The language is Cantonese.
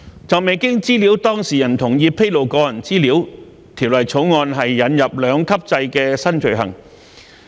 就未經資料當事人同意披露個人資料，《條例草案》引入兩級制的兩項新罪行。